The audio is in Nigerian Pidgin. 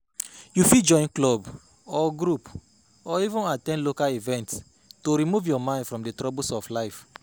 You fit join club or group or even at ten d local events to remove your mind from di troubles of life